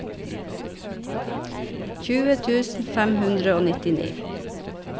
tjue tusen fem hundre og nittini